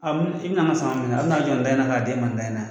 A i bi na n ka sama minɛ a bi n'a jɔ in da in na k'a d'e ma in da in na.